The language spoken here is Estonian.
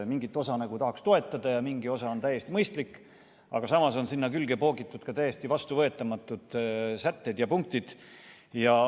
Mingit osa nagu tahaks toetada, mingi osa on täiesti mõistlik, aga samas on sinna külge poogitud täiesti vastuvõetamatud sätted ja punktid.